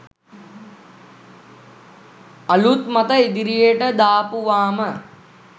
අලුත් මත ඉදිරියට දාපුවාම